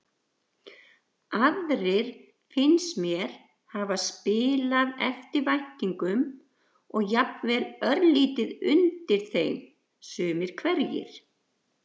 Aðrir finnst mér hafa spilað eftir væntingum og jafnvel örlítið undir þeim sumir hverjir.